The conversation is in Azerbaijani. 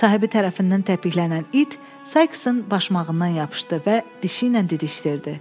Sahibi tərəfindən təpiklənnən it Saiksın başmağından yapışdı və dişi ilə didişdirdi.